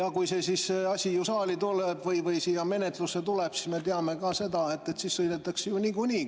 Kui see asi siia saali menetlusse tuleb, siis me teame, et niikuinii sõidetakse meist üle.